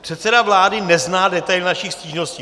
Předseda vlády nezná detaily našich stížností.